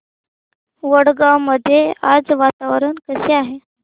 वडगाव मध्ये आज वातावरण कसे आहे